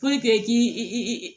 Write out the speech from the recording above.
i k'i i